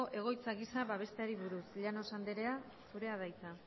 egoitza gisa babesteari buruz llanos andrea zurea da hitza